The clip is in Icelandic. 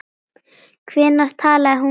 Hvenær talaði hún við þig?